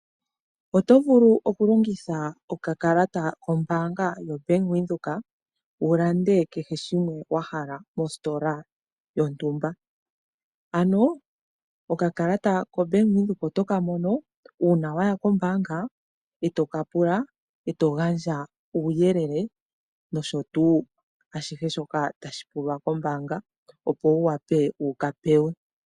Oto vulu okulongitha okakalata kombaanga yoBank Windhoek wu lande kehe shimwe wa hala mositola yontumba. Ano okakalata ko Bank Windhoek oto ka mono uuna waya koombanga e to ka pula, e to gandja uuyelele nosho tuu ashihe shoka tashi pulwa kombaanga, opo wu wape wuka pewe.